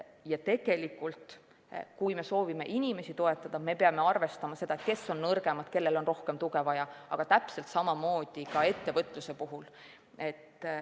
Ja tegelikult, kui me soovime inimesi toetada, siis peame arvestama seda, kes on nõrgemad ja kellel on rohkem tuge vaja, aga täpselt samamoodi tuleb teha ka ettevõtluse puhul.